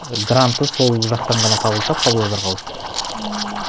і гранты сол жақтан ғана табылды да павлодарға ауысты ммм